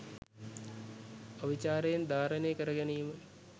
අවිචාරයෙන් ධාරණය කර ගැනීම